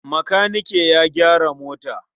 Makanike ya gyara mota.